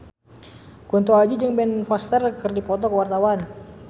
Kunto Aji jeung Ben Foster keur dipoto ku wartawan